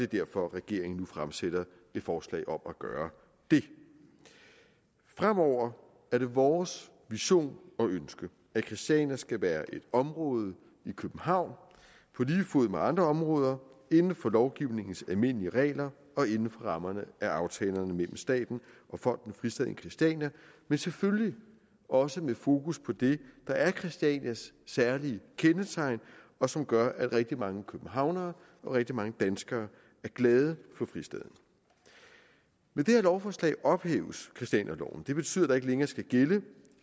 derfor regeringen nu fremsætter et forslag om at gøre det fremover er det vores vision og ønske at christiania skal være et område i københavn på lige fod med andre områder inden for lovgivningens almindelige regler og inden for rammerne af aftalerne mellem staten og fonden fristaden christiania men selvfølgelig også med fokus på det der er christianias særlige kendetegn og som gør at rigtig mange københavnere og rigtig mange danskere er glade for fristaden med det her lovforslag ophæves christianialoven det betyder at der ikke længere skal gælde